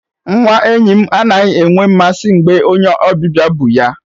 Nwa enyi m anaghị enwe mmasị mgbe onye ọbịbịa bu ya.